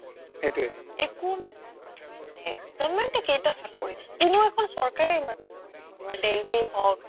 একো নহয় government য়ে government য়ে কেইটা চাকৰি দিব কোনো এখন চৰকাৰে ইমান চাকৰি দিব নোৱাৰে দেলহি হক্